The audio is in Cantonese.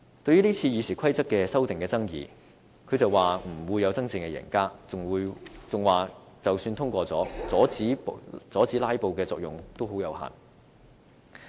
對於今次《議事規則》修訂的爭議，他表示不會有真正的贏家，並認為即使今次通過修訂，阻止"拉布"的作用亦非常有限。